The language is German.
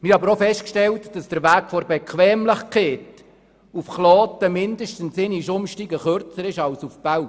Wir haben aber auch festgestellt, dass der Weg der Bequemlichkeit nach Kloten um mindestens einmal Umsteigen kürzer ist als nach Belp.